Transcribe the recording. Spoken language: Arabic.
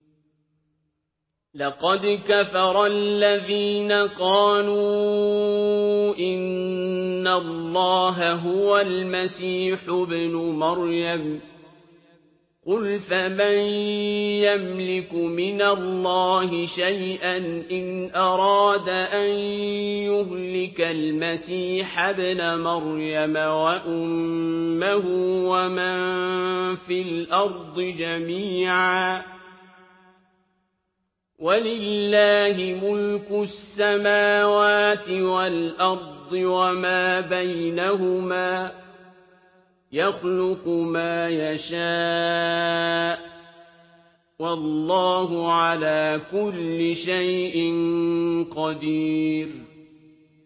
لَّقَدْ كَفَرَ الَّذِينَ قَالُوا إِنَّ اللَّهَ هُوَ الْمَسِيحُ ابْنُ مَرْيَمَ ۚ قُلْ فَمَن يَمْلِكُ مِنَ اللَّهِ شَيْئًا إِنْ أَرَادَ أَن يُهْلِكَ الْمَسِيحَ ابْنَ مَرْيَمَ وَأُمَّهُ وَمَن فِي الْأَرْضِ جَمِيعًا ۗ وَلِلَّهِ مُلْكُ السَّمَاوَاتِ وَالْأَرْضِ وَمَا بَيْنَهُمَا ۚ يَخْلُقُ مَا يَشَاءُ ۚ وَاللَّهُ عَلَىٰ كُلِّ شَيْءٍ قَدِيرٌ